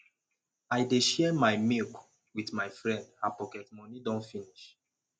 i dey share my milk wit my friend her pocket moni don finish